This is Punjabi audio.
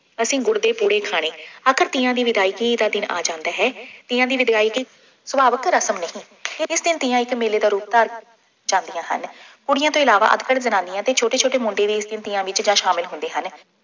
ਅਸੀ ਗੁੜ ਦੇ ਪੂੜੇ ਖਾਣੇ। ਆਖਿਰ ਤੀਆਂ ਦੀ ਵਿਦਾਇਗੀ ਦਾ ਦਿਨ ਆ ਜਾਂਦਾ ਹੈ। ਤੀਆਂ ਦੀ ਵਿਦਾਇਗੀ ਸੁਭਾਵਿਕ ਰਸਮ ਨਹੀਂ। ਇਸ ਦਿਨ ਤੀਆਂ ਇੱਕ ਮੇਲੇ ਦਾ ਰੂਪ ਧਾਰ ਕੇ ਜਾਂਦੀਆਂ ਹਨ। ਕੁੜੀਆ ਤੋਂ ਇਲਾਵਾ ਅੱਧਖੜ ਜਨਾਨੀਆਂ ਅਤੇ ਛੋਟੇ ਛੋਟੇ ਮੁੰਡੇ ਵੀ ਇਸ ਦਿਨ ਤੀਆਂ ਵਿੱਚ ਜਾ ਸ਼ਾਮਿਲ ਹੁੰਦੇ ਹਨ।